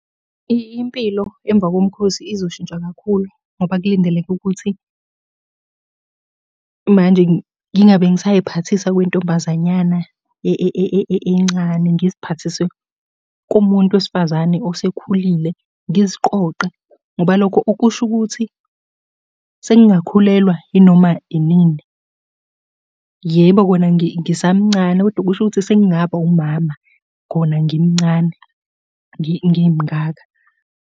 Impilo emva komkhosi izoshintsha kakhulu, ngoba kulindeleke ukuthi manje ngingabe ngisay'phathisa okwentombazanyana encane, ngiziphathise komuntu wesifazane osekhulile. Ngiziqoqe, ngoba lokho okusho ukuthi sengingakhulelwa yinoma yinini. Yebo, kona ngisamncane kodwa kusho ukuthi sengingaba wumama khona ngimncane, ngimngaka.